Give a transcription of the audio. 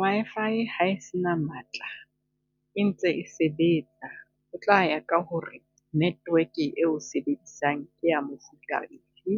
Wi-Fi ha e se na matla, e ntse e sebetsa. Ho tla ya ka ho re network-e eo sebedisang ke ya mofuta ofe,